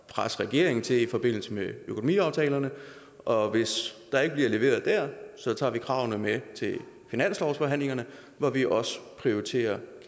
at presse regeringen til i forbindelse med økonomiaftalerne og hvis der ikke bliver leveret dér tager vi kravene med til finanslovsforhandlingerne hvor vi også prioriterer